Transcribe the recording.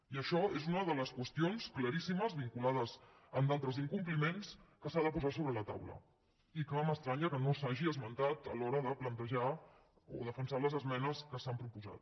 i això és una de les qüestions claríssimes vinculades a d’altres incompliments que s’ha de posar sobre la taula i que m’estranya que no s’hagi esmentat a l’hora de plantejar o defensar les esmenes que s’han proposat